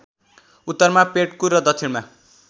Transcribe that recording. उत्तरमा पेड्कु र दक्षिणमा